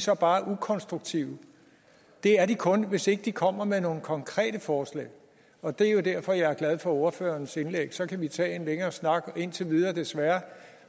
så bare er ukonstruktive det er de kun hvis ikke de kommer med nogle konkrete forslag og det er jo derfor at jeg er glad for ordførerens indlæg så kan vi tage en længere snak indtil videre desværre